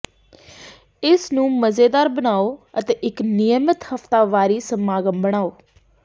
ਇਸਨੂੰ ਮਜ਼ੇਦਾਰ ਬਣਾਉ ਅਤੇ ਇਕ ਨਿਯਮਤ ਹਫ਼ਤਾਵਾਰੀ ਸਮਾਗਮ ਬਣਾਓ